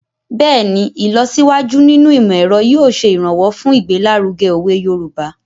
Bẹ́ẹ̀ni, ìlọsíwájú nínú ìmọ̀-ẹ̀ro yóò ṣe ìrànwọ́ fun igbelaruge owe Yoruba